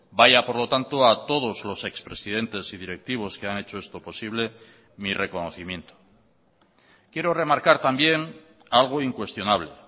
vaya por lo tanto a todos los ex presidentes y directivos que han hecho esto posible mi reconocimiento quiero remarcar también algo incuestionable